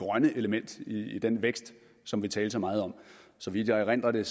grønne element i den vækst som vi talte så meget om så vidt jeg erindrer lagde